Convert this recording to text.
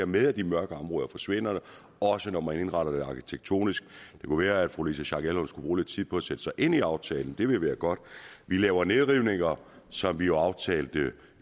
med at de mørke områder forsvinder også når man indretter det arkitektonisk det kunne være at fru louise schack elholm skulle tid på at sætte sig ind i aftalen det ville være godt vi laver nedrivninger som vi jo aftalte